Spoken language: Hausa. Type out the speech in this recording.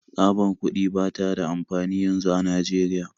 Tsabar kuɗi ba ta da amfani yanzu a Najeriya